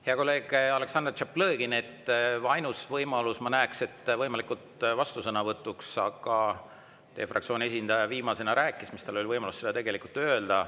Hea kolleeg Aleksandr Tšaplõgin, ainuke võimalus, mida ma näen, oleks võimalik vastusõnavõtt, aga teie fraktsiooni esindaja rääkis viimasena ja tal oli võimalus seda tegelikult ju öelda.